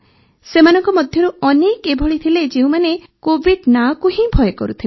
ସେମାନଙ୍କ ମଧ୍ୟରୁ ଅନେକ ଏଭଳି ଥିଲେ ଯେଉଁମାନେ କୋଭିଡ୍ ନାଁ କୁ ହିଁ ଭୟ କରୁଥିଲେ